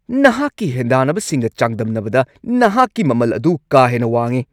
ꯅꯍꯥꯛꯀꯤ ꯍꯦꯟꯗꯥꯟꯅꯕꯁꯤꯡꯒ ꯆꯥꯡꯗꯝꯅꯕꯗ ꯅꯍꯥꯛꯀꯤ ꯃꯃꯜ ꯑꯗꯨ ꯀꯥ ꯍꯦꯟꯅ ꯋꯥꯡꯉꯤ꯫